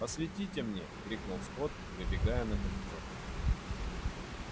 посветите мне крикнул скотт выбегая на крыльцо